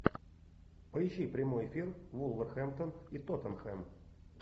поищи прямой эфир вулверхэмптон и тоттенхэм